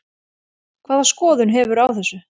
Hvaða skoðun hefurðu á þessu?